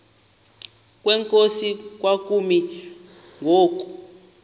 kwenkosi kwakumi ngoku